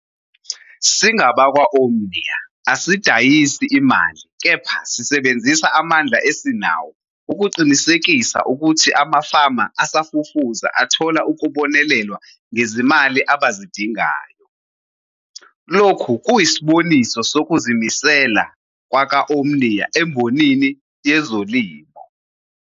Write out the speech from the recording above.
Singabakwa-Omnia asidayisi imali kepha sisebenzisa amandla esinawo ukuqinisekisa ukuthi amafama asafufusa athola ukubonelelwa ngezimali abazidingayo. Lokhu kuyisiboniso sokuzimisela kwaka-Omnia embonini yezolimo.